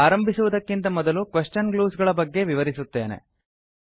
ಆರಂಭಿಸುವುದಕ್ಕಿಂತ ಮೊದಲು question clues ಗಳ ಬಗೆಗೆ ವಿವರಿಸುತ್ತೇನೆ